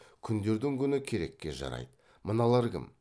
күндердің күні керекке жарайды мыналар кім